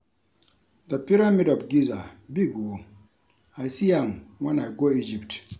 The pyramid of Giza big oo, I see am wen I go Egypt